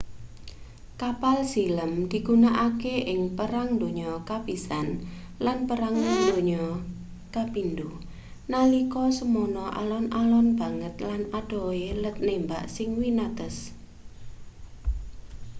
kapal silem digunakake ing perang donya i lan perang dunia ii nalika semono alon-alon banget lan adohe let nembak sing winates